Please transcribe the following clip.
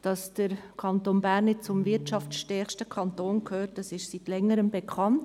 Dass der Kanton Bern nicht der wirtschaftsstärkste Kanton ist, ist seit Längerem bekannt.